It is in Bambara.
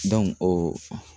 o